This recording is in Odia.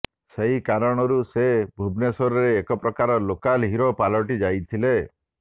ସେହି କାରଣରୁ ସେ ଭୁବନେଶ୍ବରରେ ଏକପ୍ରକାର ଲୋକାଲ ହିରୋ ପାଲଟି ଯାଇଥିଲେ